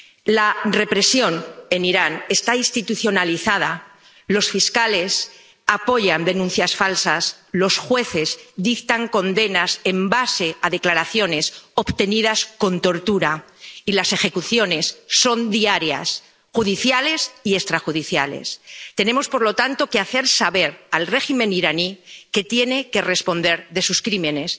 La represión en Irán está institucionalizada los fiscales apoyan denuncias falsas, los jueces dictan condenas basándose en declaraciones obtenidas con tortura y las ejecuciones son diarias, judiciales y extrajudiciales. Tenemos, por lo tanto, que hacer saber al régimen iraní que tiene que responder de sus crímenes.